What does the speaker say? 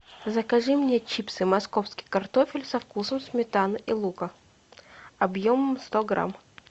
закажи мне чипсы московский картофель со вкусом сметаны и лука объемом сто грамм